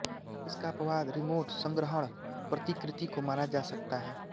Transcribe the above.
इसका अपवाद रिमोट संग्रहण प्रतिकृति को माना जा सकता है